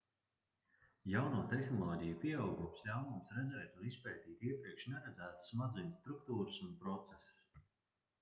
jauno tehnoloģiju pieaugums ļauj mums redzēt un izpētīt iepriekš neredzētas smadzeņu struktūras un procesus